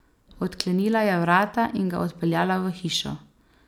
Odklenila je vrata in ga odpeljala v hišo.